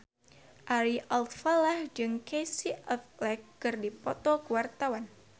Ari Alfalah jeung Casey Affleck keur dipoto ku wartawan